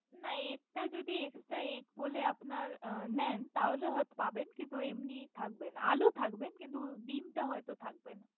না egg টা যদি extra ege বলে নেন তাহলে আপনি পাবেন। তো এমনি থাকবে না। আলু থাকবে কিন্তু ডিমটা হয়তো থাকবে না।